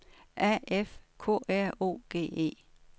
A F K R O G E